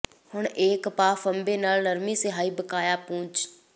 ਹੁਣ ਇੱਕ ਕਪਾਹ ਫ਼ੰਬੇ ਨਾਲ ਨਰਮੀ ਸਿਆਹੀ ਬਕਾਇਆ ਪੂੰਝ